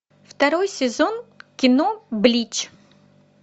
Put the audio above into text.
второй сезон кино блич